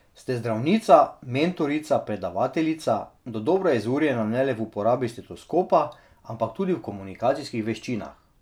Ste zdravnica, mentorica, predavateljica, dodobra izurjena ne le v uporabi stetoskopa, ampak tudi v komunikacijskih veščinah.